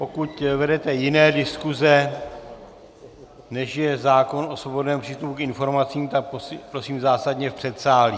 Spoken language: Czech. Pokud vedete jiné diskuze, než je zákon o svobodném přístupu k informacím, tak prosím zásadně v předsálí.